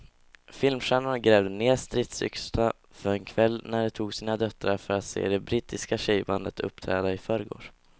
Filmstjärnorna grävde ned stridsyxorna för en kväll när de tog med sina döttrar för att se det brittiska tjejbandet uppträda i förrgår.